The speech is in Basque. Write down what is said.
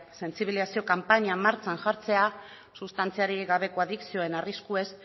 sentsibilizazio kanpaina martxan jartzea sustantziarik gabeko adikzioen arriskuez